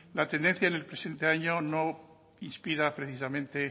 la tenencia en el presente año no inspira precisamente